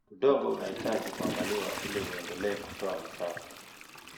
Udongo unahitaji kuangaliwa ili uendelee kutoa mazao.